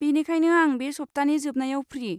बेनिखायनो आं बे सप्तानि जोबनायाव फ्रि।